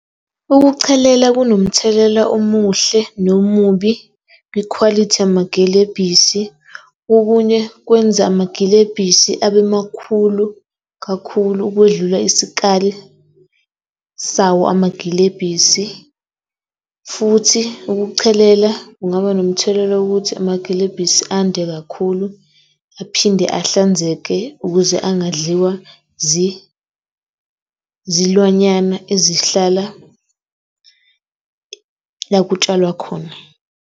Ukuchelela kunomthelela omuhle, nomubi kwikhwalithi yamagilebhisi. Okunye kwenza amagilebhisi abe makhulu kakhulu ukwedlula isikali sawo amagilebhisi, futhi ukuchelela kungaba nomthelela wokuthi amagilebhisi ande kakhulu aphinde ahlanzeke ukuze engadliwa zilwanyana ezihlala la kutshalwa khona.